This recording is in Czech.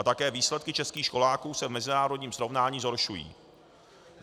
A také výsledky českých školáků se v mezinárodním srovnání zhoršují.